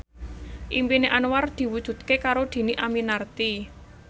impine Anwar diwujudke karo Dhini Aminarti